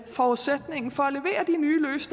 forudsætningen for